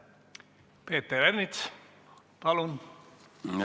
Peeter Ernits, palun!